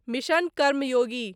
mission Karmayogi